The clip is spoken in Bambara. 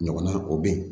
Ɲɔgɔnna o bɛ yen